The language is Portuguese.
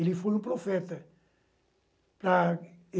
Ele foi um profeta.